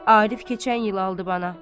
Arif keçən il aldı bana.